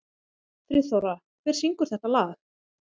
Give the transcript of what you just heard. Friðþóra, hver syngur þetta lag?